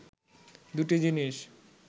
দু’টি জিনিস